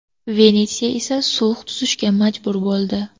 Venetsiya esa sulh tuzishga majbur bo‘ldi.